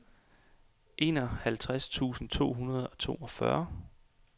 enoghalvtreds tusind to hundrede og toogfyrre